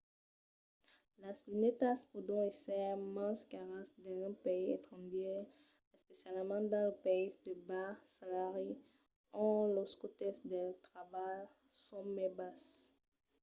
las lunetas pòdon èsser mens caras dins un país estrangièr especialament dins los païses de bas salari ont los còstes del trabalh son mai basses